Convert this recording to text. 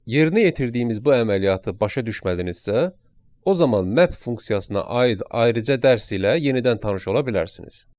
Yerinə yetirdiyimiz bu əməliyyatı başa düşmədinizsə, o zaman map funksiyasına aid ayrıca dərs ilə yenidən tanış ola bilərsiniz.